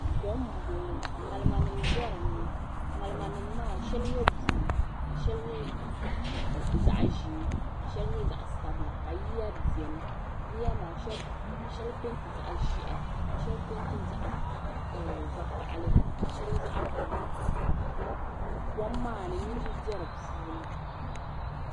Kom m-bɔŋɔ ŋalimanima m-be dini ŋalimanima maa shɛli nyɛ buluu ka shɛli nyɛ zaɣ'ʒee ka shɛli nyɛ zaɣ'sabila ka yiya beni yiya maa shɛli penti zaɣ'ʒɛhi ka shɛli Penti zaɣ'vakahili shɛli zaɣ'buluu kom maa ni niriba be di puuni.